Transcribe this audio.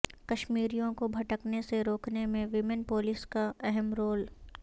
کشمیریوںکو بھٹکنے سے روکنے میں ویمن پولیس کا اہم رول